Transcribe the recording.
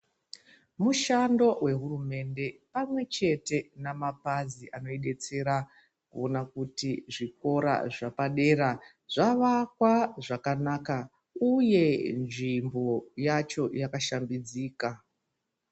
Mushando wehurumende pamwe chete namapazi anoidetsera kuona kuti zvikora zvepadera zvavakwa zvakanaka uye nzvimbo yacho yakashambidzika.